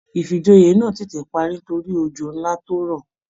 Ifíjòyè náà tètè parí nítorí òjò nlá tó rọ̀.